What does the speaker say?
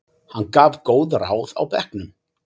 Hann gaf góð ráð á bekknum.